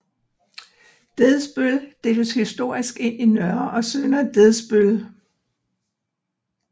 Dedsbøl deles historisk ind i Nørre og Sønder Dedsbøl